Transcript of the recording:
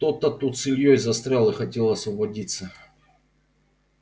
кто-то тут с ильёй застрял и хотел освободиться